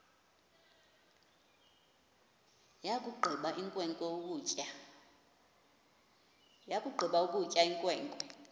yakugqiba ukutya inkwenkwe